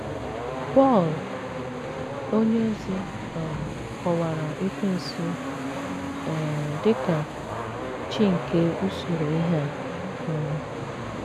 Pọl onyeozi um kọwara Ekwensu um dị ka “ chi nke usoro ihe a um. ”